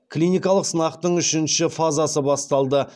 клиникалық сынақтың үшінші фазасы басталды